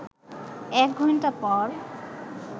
১ ঘণ্টা পর